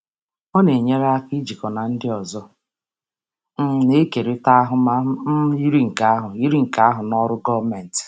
Ọ na-enyere aka ijikọ na ndị ọzọ um na-ekerịta ahụmahụ um yiri nke ahụ yiri nke ahụ na ọrụ gọọmentị.